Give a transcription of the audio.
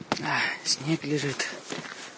аа снег лежит